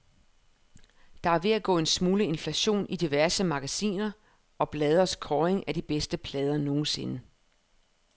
Der er ved at gå en smule inflation i diverse magasiner og blades kåringer af de bedste plader nogensinde.